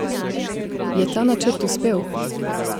Je ta načrt uspel?